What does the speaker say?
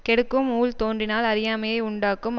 கெடுக்கும் ஊழ் தோன்றினால் அறியாமையை யுண்டாக்கும்